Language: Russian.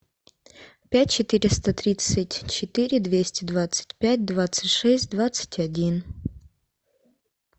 пять четыреста тридцать четыре двести двадцать пять двадцать шесть двадцать один